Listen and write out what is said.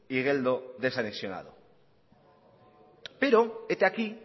igeldo desanexionado pero hete aquí